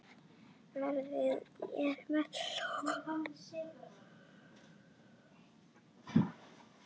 Veðrið er milt og gott.